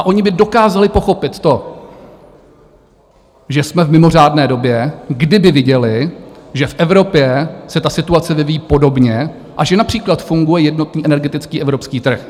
A ony by dokázaly pochopit to, že jsme v mimořádné době, kdyby viděly, že v Evropě se ta situace vyvíjí podobně a že například funguje jednotný energetický evropský trh.